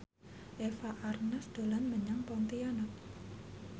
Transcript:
Eva Arnaz dolan menyang Pontianak